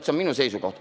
See on minu seisukoht.